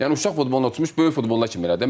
Yəni uşaq futbolu üçün böyük futbol kimi elədi.